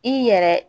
I yɛrɛ